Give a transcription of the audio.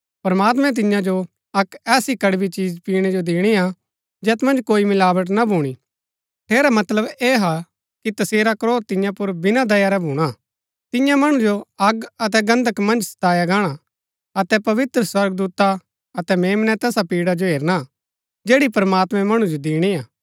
प्रमात्मैं तिन्या जो अक्क ऐसी कड़बी चिज पीणै जो दिणी हा जैत मन्ज कोई मिलावट ना भूणी ठेरा मतलब ऐह हा कि तसेरा क्रोध तिन्या पुर बिना दया रै भूणा तिन्या मणु जो अग अतै गन्धक मन्ज सताया गाणा अतै पवित्र स्वर्गदूता अतै मेम्नै तैसा पीड़ा जो हेरना जैड़ी प्रमात्मैं मणु जो दिणी हा